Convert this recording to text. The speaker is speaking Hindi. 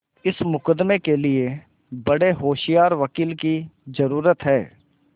इस मुकदमें के लिए बड़े होशियार वकील की जरुरत है